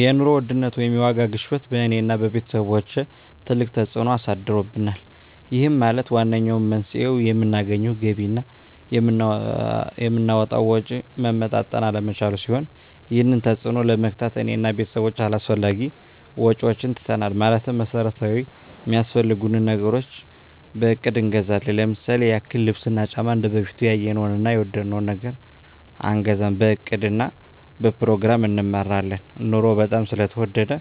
የኑሮ ውድነት ወይም የዋጋ ግሽበት በእኔ እና በቤተሰቦቸ ትልቅ ተፅእኖ አሳድሮብናል ይህም ማለት ዋነኛው መንስኤው የምናገኘው ገቢ እና የምናወጣው ወጪ መመጣጠን አለመቻሉን ሲሆን ይህንን ተፅዕኖ ለመግታት እኔ እና ቤተሰቦቸ አላስፈላጊ ወጪዎችን ትተናል ማለትም መሠረታዊ ሚያስፈልጉንን ነገሮች በእቅድ እንገዛለን ለምሳሌ ያክል ልብስ እና ጫማ እንደበፊቱ ያየነውን እና የወደድነውን ነገር አንገዛም በእቅድ እና በፕሮግራም እንመራለን ኑሮው በጣም ስለተወደደ